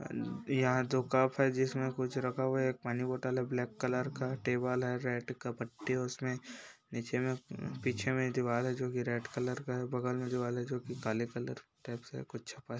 यहाँ दो कप हैं जिसमे कुछ रखा हुआ हैं एक पानी बोटल हैं ब्लैक कलर का टेबल हैं रेड का पट्टी उसमे नीचे में पीछे में दिवाल हैं जो कि रेड कलर का हैं बगल में दिवाल हैं जो कि काले कलर टाइप से कुछ छपा हैं।